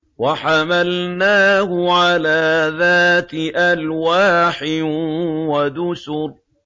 وَحَمَلْنَاهُ عَلَىٰ ذَاتِ أَلْوَاحٍ وَدُسُرٍ